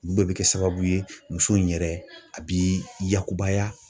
Olu bɛɛ bɛ kɛ sababu ye muso in yɛrɛ a bi yakubaya.